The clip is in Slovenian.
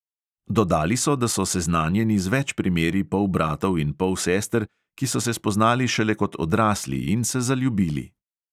Dodali so, da so seznanjeni z več primeri polbratov in polsester, ki so se spoznali šele kot odrasli in se zaljubili.